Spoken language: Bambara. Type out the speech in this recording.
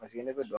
Paseke ne bɛ